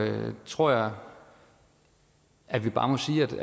tror jeg at vi bare må sige